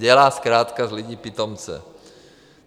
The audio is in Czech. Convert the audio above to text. Dělá zkrátka z lidí pitomce.